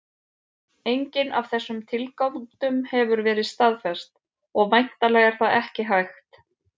Engin af þessum tilgátum hefur verið staðfest, og væntanlega er það ekki hægt.